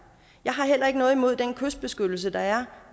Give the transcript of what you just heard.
jeg har heller ikke noget imod den kystbeskyttelse der er